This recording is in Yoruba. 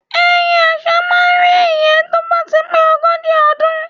Ẹyẹ àṣá máá ń re ìyẹ́ tó bá ti pé ogójì ọdún